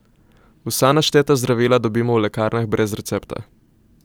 Vsa našteta zdravila dobimo v lekarnah brez recepta.